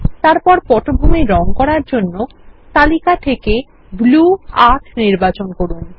তারপর পটভূমির রঙ এর জন্য তালিকা থেকে ব্লু ৮ নির্বাচন করুন